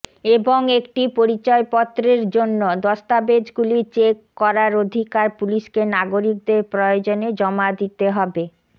এবং একটি পরিচয়পত্রের জন্য দস্তাবেজগুলি চেক করার অধিকার পুলিশকে নাগরিকদের প্রয়োজনে জমা দিতে হবে